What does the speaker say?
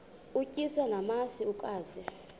utyiswa namasi ukaze